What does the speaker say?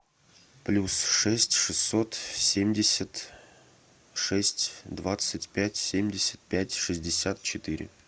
плюс шесть шестьсот семьдесят шесть двадцать пять семьдесят пять шестьдесят четыре